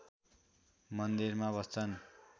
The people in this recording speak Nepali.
मन्दिरमा बस्छन्